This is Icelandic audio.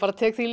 tek því